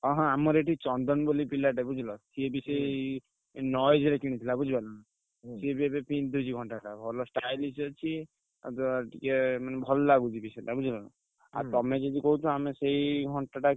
ହଁ ହଁ ଆମର ଏଠି ଚନ୍ଦନ ବୋଲି ପିଲାଟେ ବୁଝିଲ ସିଏ ବି ସେଇ Noise ର କିଣିଥିଲା ବୁଝିପାଇଲନା ସିଏ ବି ଏବେ ପିନ୍ଧୁଛି ଘଣ୍ଟାଟା ଭଲ stylish ଅଛି। ଆଉ ଟିକେ ମାନେ ଭଲ ଲାଗୁଚି ବି ସେଟା ବୁଝିହେଲାନା। ଆଉ ତମେ ଯଦି କହୁଛ ଆମେ ସେଇ ଘଣ୍ଟାଟା,